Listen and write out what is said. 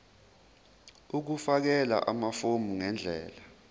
ukufakela amafomu ngendlela